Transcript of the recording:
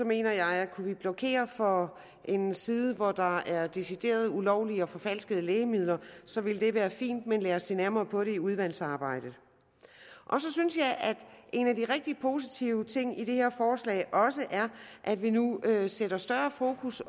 mener jeg at kunne vi blokere for en side hvor der er decideret ulovlige og forfalskede lægemidler så ville det være fint men lad os se nærmere på det i udvalgsarbejdet så synes jeg at en af de rigtig positive ting i det her forslag er at vi nu sætter større fokus